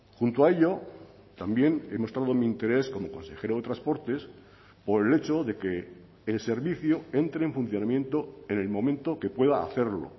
junto a ello también he mostrado mi interés como consejero de transportes por el hecho de que el servicio entre en funcionamiento en el momento que pueda hacerlo